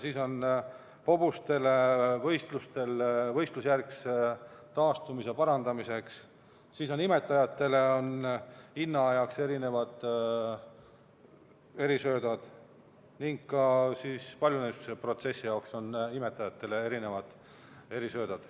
Siis on nad mõeldud hobustele võistlusjärgse taastumise parandamiseks, imetajatele on innaajaks erisöödad ning ka paljunemisprotsessi jaoks on imetajatel erisöödad.